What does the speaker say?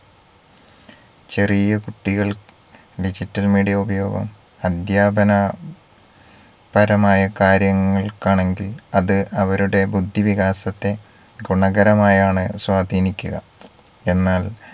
ചെറിയ കുട്ടികൾ digital media ഉപയോഗം അദ്ധ്യാപന പരമായ കാര്യങ്ങൾക്കാണെങ്കിൽ അത് അവരുടെ ബുദ്ധിവികാസത്തെ ഗുണകരമായാണ് സ്വാധീനിക്കുക എന്നാൽ